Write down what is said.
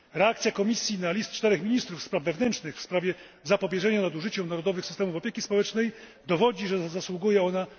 Reakcja Komisji na list czterech ministrów spraw wewnętrznych w sprawie zapobieżenia nadużyciom narodowych systemów opieki społecznej dowodzi, że zasługuje ona na kredyt zaufania.